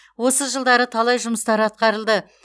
осы жылдары талай жұмыстар атқарылды